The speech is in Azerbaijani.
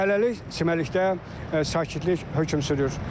Hələlik çimərlikdə sakitlik hökm sürür.